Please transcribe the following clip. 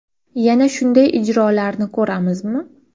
Yana shunday ijrolarni ko‘ramizmi?